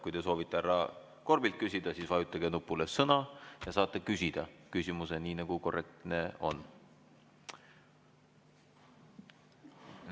Kui te soovite härra Korbilt küsida, siis vajutage nupule "Sõna" ja saate küsida küsimuse nii, nagu korrektne on.